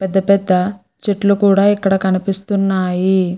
పెద్ద పెద్ద చెట్లు కూడా ఇక్కడ కనిపిస్తున్నాయి.